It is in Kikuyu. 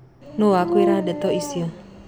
Nũ wakwĩra ndeto icio.